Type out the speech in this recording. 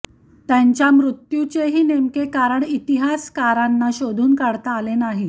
त्यांच्या मृत्युचेही नेमके कारण इतिहासाकारांना शोधून काढता आलेले नाही